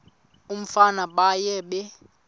umfana baye bee